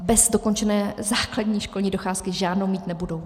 A bez dokončené základní školní docházky žádnou mít nebudou.